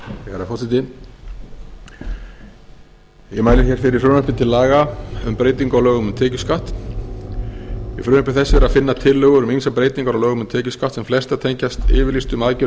herra forseti ég mæli hér fyrir frumvarpi til laga um breytingu á lögum um tekjuskatt í frumvarpi þessu er að finna tillögur um ýmsar breytingar á lögum um tekjuskatt sem flestar tengjast yfirlýstum aðgerðum